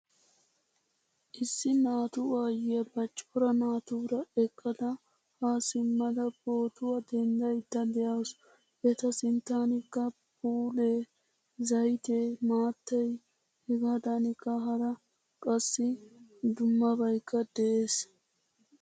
Issi naatu aayiya ba cora naatura eqqada ha simada pootuwaa denddayda deawusu. Eta sinttanikka phphule, zaytte, maattay hegadankka hara qassi dummabaykka de'ees.